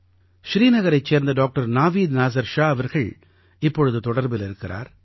ஸ்ரீநகரைச் சேர்ந்த டாக்டர் நாவீத் நாஸர் ஷா அவர்கள் இப்பொழுது தொடர்பில் இருக்கிறார்